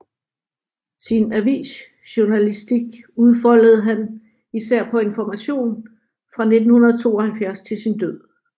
Sin avisjournalistik udfoldede han især på Information fra 1972 til sin død